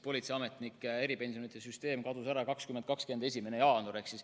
Politseiametnike eripensionide süsteem kadus ära 2020. aasta 1. jaanuaril.